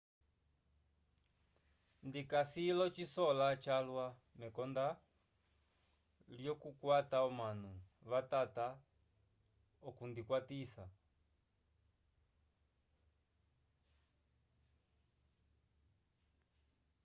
ndikasi l'ocisola calwa mekonda lyokukwata omanu vatava okundikwatisa